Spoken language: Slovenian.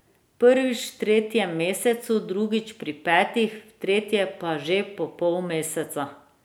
Prvič v tretjem mesecu, drugič pri petih, v tretje pa že po pol meseca.